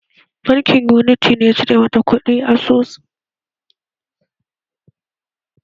Bankin Unity ne ya cire mata kuɗi asusunta dan kula da kati?